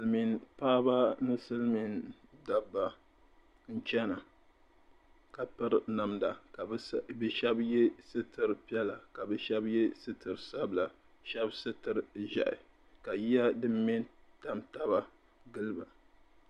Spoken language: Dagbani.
Silimiim paɣiba ni silimiin dabba n-chana ka piri namda ka bɛ shɛba ye sitir' piɛla ka bɛ shɛba ye sitir' sabila shɛba sitir' ʒiɛhi ka yiya dim me n-tam taba gili ba.